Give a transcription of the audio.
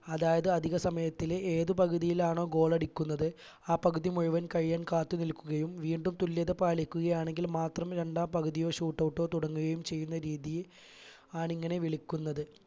അതായത് അധിക സമയത്തിലെ ഏത് പകുതിയിലാണോ goal അടിക്കുന്നത് ആ പകുതി മുഴുവൻ കഴിയാൻ കാത്ത് നിൽക്കുകയും വീണ്ടും തുല്യത പാലിക്കുകയാണെങ്കിൽ മാത്രം രണ്ടാം പകുതിയോ shoot out ഓ തുടങ്ങുകയും ചെയ്യുന്ന രീതിയെ ആണിങ്ങനെ വിളിക്കുന്നത്